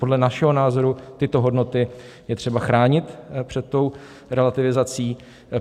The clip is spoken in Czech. Podle našeho názoru tyto hodnoty je třeba chránit před tou relativizací.